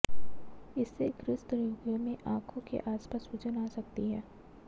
इससे ग्रस्त रोगियों में आंखों के आसपास सूजन आ जाती है